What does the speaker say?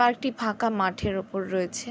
Park টি ফাঁকা মাঠের উপর রয়েছে।